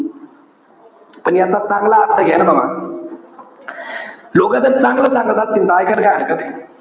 पण याचा चांगला अर्थ घ्या ना बाबा. लोकं जर चांगलं सांगत असतील. तर इकायला काय हरकते.